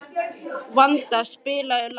Vanda, spilaðu lag.